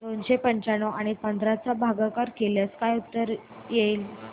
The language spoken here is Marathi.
दोनशे पंच्याण्णव आणि पंधरा चा भागाकार केल्यास काय उत्तर येईल